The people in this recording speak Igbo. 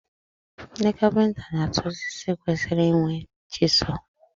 Ndị kapịnta na-atụ osisi kwesịrị inwe chịsụl